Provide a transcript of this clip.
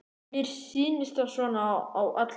Mér sýnist það svona á öllu.